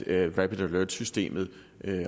at rapid alert systemet